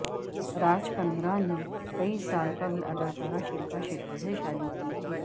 راج کندرا نے کئی سال قبل اداکارہ شلپا شیٹی سے شادی کی تھی